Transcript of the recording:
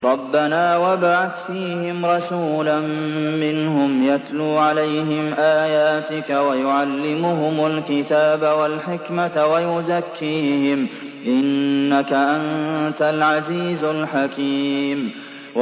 رَبَّنَا وَابْعَثْ فِيهِمْ رَسُولًا مِّنْهُمْ يَتْلُو عَلَيْهِمْ آيَاتِكَ وَيُعَلِّمُهُمُ الْكِتَابَ وَالْحِكْمَةَ وَيُزَكِّيهِمْ ۚ إِنَّكَ أَنتَ الْعَزِيزُ الْحَكِيمُ